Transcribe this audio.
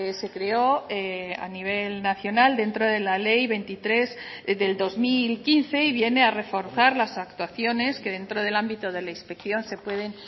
se creó a nivel nacional dentro de la ley veintitrés del dos mil quince y viene a reforzar las actuaciones que dentro del ámbito de la inspección se pueden